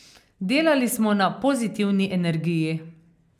Delali smo na pozitivni energiji.